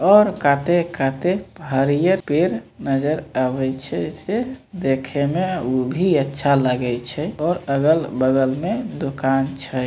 और काते-काते हरिहर पेड़ नजर आवे छै से देखे में ऊ भी अच्छा लगे छै और अगल-बगल में दुकान छै।